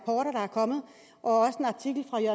er kommet og